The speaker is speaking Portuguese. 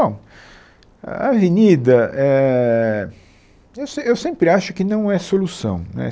Bom, Avenida, éh, eu sem, eu sempre acho que não é solução. né